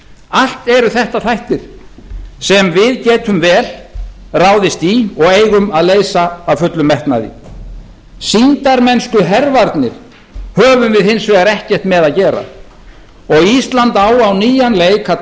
allt eru þetta þættir sem við getum vel ráðist í og eigum að leysa af fullum metnaði sýndarmennskuhervarnir höfum við hins vegar ekkert með að gera og ísland á á nýjan leik að